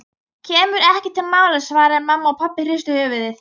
Kemur ekki til mála svaraði mamma og pabbi hristi höfuðið.